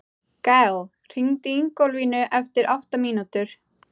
Gael, hringdu í Ingólfínu eftir átta mínútur.